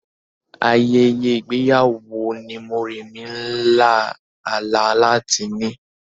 Ayẹyẹ ìgbéyàwó wo ni Moremi ń lá àlá láti ní?